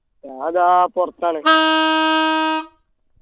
ഞാൻ ദാ പൊർത്താണ്